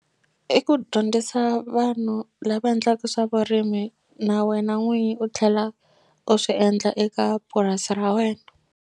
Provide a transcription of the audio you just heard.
I ku dyondzisa vanhu lava endlaku swa vurimi na wena n'winyi u tlhela u swi endla eka purasi ra wena.